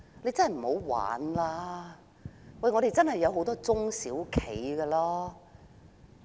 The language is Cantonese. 請不要再鬧着玩，香港真的有很多中小企。